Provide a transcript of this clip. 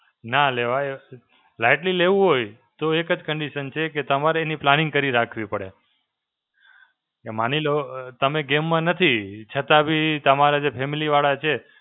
ના લેવાય. લાઈટલી લેવું હોય, તો એક જ condition છે કે તમારી planning કરી રાખવી પડે. કે માની લો અ તમે game માં નથી, છતાં બી તમારા જે family વાળા છે,